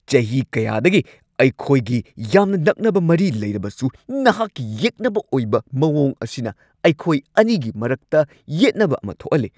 ꯆꯍꯤ ꯀꯌꯥꯗꯒꯤ ꯑꯩꯈꯣꯏꯒꯤ ꯌꯥꯝꯅ ꯅꯛꯅꯕ ꯃꯔꯤ ꯂꯩꯔꯕꯁꯨ ꯅꯍꯥꯛꯀꯤ ꯌꯦꯛꯅꯕ ꯑꯣꯏꯕ ꯃꯑꯣꯡ ꯑꯁꯤꯅ ꯑꯩꯈꯣꯏ ꯑꯅꯤꯒꯤ ꯃꯔꯛꯇ ꯌꯦꯠꯅꯕ ꯑꯃ ꯊꯣꯛꯍꯜꯂꯤ꯫